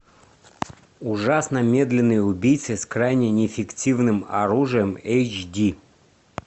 ужасно медленный убийца с крайне неэффективным оружием эйч ди